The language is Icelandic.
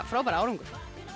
frábær árangur